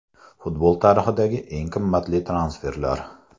Futbol tarixidagi eng qimmat transferlar.